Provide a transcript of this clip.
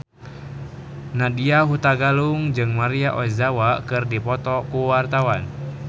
Nadya Hutagalung jeung Maria Ozawa keur dipoto ku wartawan